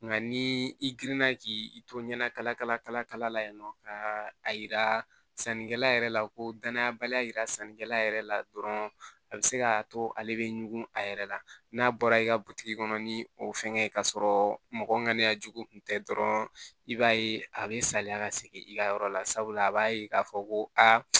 Nka ni i girinna k'i to ɲɛnakala kala la yen nɔ ka a yira sannikɛla yɛrɛ la ko danayabaliya yira sannikɛla yɛrɛ la dɔrɔn a be se ka to ale be ɲugu a yɛrɛ la n'a bɔra i ka butigi kɔnɔ ni o fɛngɛ ka sɔrɔ mɔgɔ ŋana jugu kun tɛ dɔrɔn i b'a ye a be saliya ka segin i ka yɔrɔ la sabula a b'a ye k'a fɔ ko aa